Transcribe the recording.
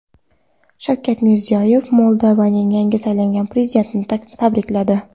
Shavkat Mirziyoyev Moldovaning yangi saylangan prezidentini tabrikladi.